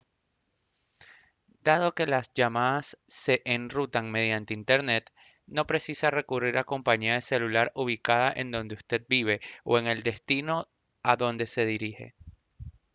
dado que las llamadas se enrutan mediante internet no precisa recurrir a una compañía de celular ubicada en donde usted vive o en el destino a donde se dirige